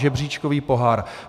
Žebříčkový pohár.